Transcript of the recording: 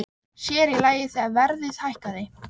Sér í lagi þegar verðið hækkaði.